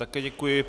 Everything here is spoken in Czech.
Také děkuji.